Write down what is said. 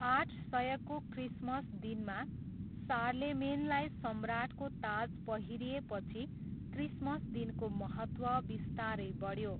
आठ सयको क्रिसमस दिनमा सार्लेमेनलाई सम्राटको ताज पहिरिएपछि क्रिसमस दिनको महत्त्व बिस्तारै बढ्यो।